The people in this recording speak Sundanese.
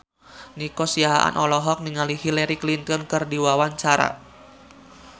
Nico Siahaan olohok ningali Hillary Clinton keur diwawancara